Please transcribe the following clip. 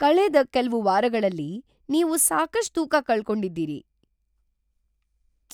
ಕಳೆದ ಕೆಲ್ವು ವಾರಗಳಲ್ಲಿ ನೀವು ಸಾಕಷ್ಟ್ ತೂಕ ಕಳ್ಕೊಂಡಿದ್ದೀರಿ!